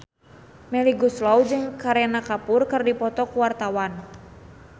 Melly Goeslaw jeung Kareena Kapoor keur dipoto ku wartawan